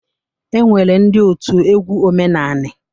E nwere ndị otu egwu omenanị.